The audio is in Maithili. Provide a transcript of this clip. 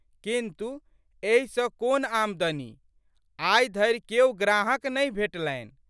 किन्तु, एहि सँ कोन आमदनी? आइधरि केओ ग्राहक नहि भेटलनि।